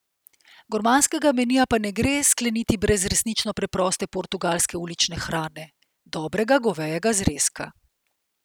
Gurmanskega menija pa ne gre skleniti brez resnično preproste portugalske ulične hrane, dobrega govejega zrezka.